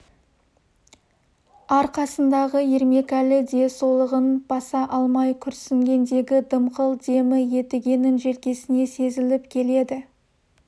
арқасындағы ермекәлі де солығын баса алмай күрсінгендегі дымқыл демі едігенің желкесіне сезіліп келеді